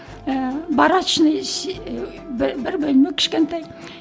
ііі барачный бір бір бөлме кішкентай